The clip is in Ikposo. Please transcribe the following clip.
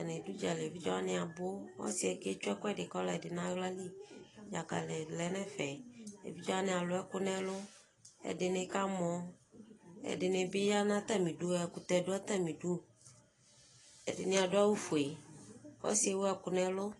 atani dʋ ʋdzali, ɛvidzɛ wani abʋ, ɔsiiɛ kɛ twɛ ɛkʋɛdi ka ɔdi nʋ alali, dzakali lɛnʋ ɛƒɛ, ɛvidzɛ wani alʋ ɛkʋ nʋ ɛlʋ, ɛdini kamɔ, ɛdini bi yanʋ atami idʋ? ɛkʋtɛ dʋ atami idʋ, ɛdini adʋawʋƒʋɛ, ɔsiiɛ ɛwʋ ɛkʋ nʋ ɛlʋ